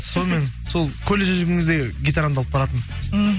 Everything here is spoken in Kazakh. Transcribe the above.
сонымен сол колледжде жүрген кезде гитарамды алып баратынмын мхм